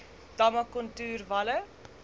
damme kontoer walle